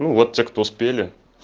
ну вот те кто успели